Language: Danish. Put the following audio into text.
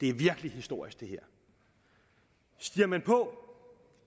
er virkelig historisk stiger man på